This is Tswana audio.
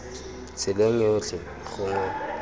tseleng ya botlhe gongwe mo